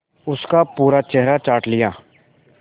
उसका पूरा चेहरा चाट लिया